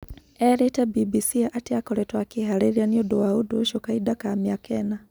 Erĩte BBC atĩ akoretwo akĩharĩria nĩundo wa ũndo ũcio kahinda ka miaka ĩna